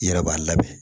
I yɛrɛ b'a labɛn